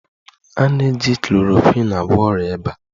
A na-eji chlorokwin agwọ ọrịa ịba